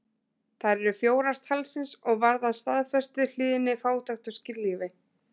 Þær eru fjórar talsins og varða staðfestu, hlýðni, fátækt og skírlífi.